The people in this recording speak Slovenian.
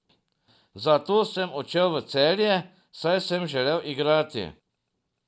Zato sem odšel v Celje, saj sem želel igrati.